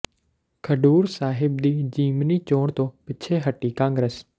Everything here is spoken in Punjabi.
ਖਡੂਰ ਸਾਹਿਬ ਦੀ ਜਿਮਨੀ ਚੋਣ ਤੋਂ ਪਿੱਛੇ ਹਟੀ ਕਾਂਗਰਸ